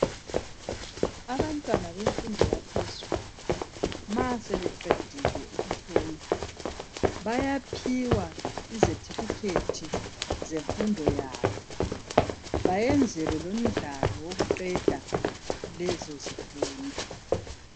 Abantwana bemfundo yaphezulu ma sebeqedile ukufunda, bayaphiwa izefithikhethi zemfundo yabo bayenzwele lemidlalo wokuqeda lezo zifundo.